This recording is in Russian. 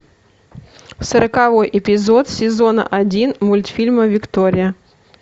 сороковой эпизод сезона один мультфильма виктория